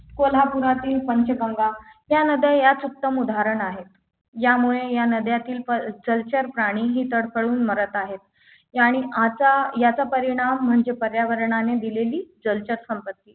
कोल्हापुरातील पंचगंगा या नद्या याच उत्तम उदाहरण आहेत यामुळे या नद्यातील जलचर प्राणी हे तडफडून मरत आहेत यांनी आचा याचा परिणाम म्हणजे पर्यावरणाने दिलेली जलचर संपत्ती